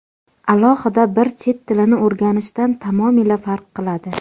Alohida bir chet tilini o‘rganishdan tamomila farq qiladi.